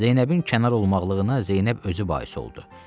Zeynəbin kənar olmaqlığına Zeynəb özü bais oldu.